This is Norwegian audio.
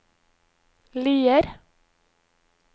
Lier